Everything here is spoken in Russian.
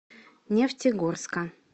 нефтегорска